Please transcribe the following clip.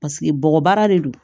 Paseke bɔgɔbaara de don